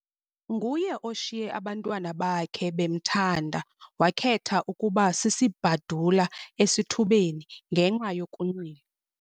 Nguye oshiye abantwana bakhe bemthanda wakhetha ukuba sisibhadula esithubeni ngenxa yokunxila.